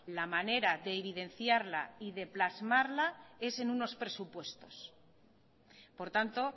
la manera de evidenciarla y de plasmarla es en unos presupuestos por tanto